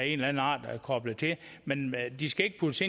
eller anden art koblet til men de skal ikke puttes